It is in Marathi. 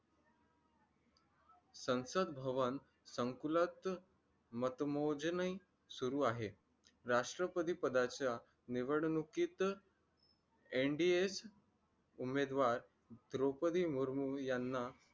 संसद भवन संकुलात मतमोजणी सुरू आहे राष्ट्रपती पदाच्या निवडणुकीत NDH उमेदवार द्रौपदी मुर्मू यांना